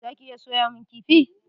Za ki iya soyamun kifi?